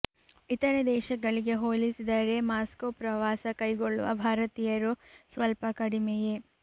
ಇತರೆ ದೇಶಗಳಿಗೆ ಹೋಲಿಸಿದರೆ ಮಾಸ್ಕೋ ಪ್ರವಾಸ ಕೈಗೊಳ್ಳುವ ಭಾರತೀಯರು ಸ್ವಲ್ಪ ಕಡಿಮೆಯೇ